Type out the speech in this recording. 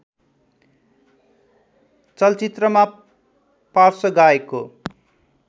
चलचित्रमा पार्श्व गायकको